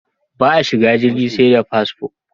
Ba a shigan jirgi sai da fasfo